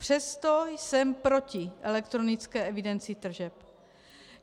Přesto jsem proti elektronické evidenci tržeb.